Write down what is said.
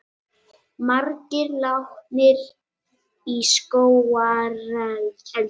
Margir látnir í skógareldi